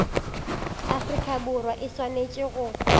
afrika borwa e swanetše go